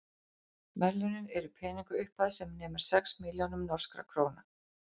verðlaunin eru peningaupphæð sem nemur sex milljónum norskra króna